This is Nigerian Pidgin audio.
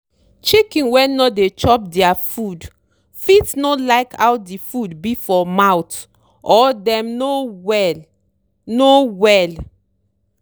chicken wey no dey chop dere food fit no like how di food be for mouth or dem no well. no well.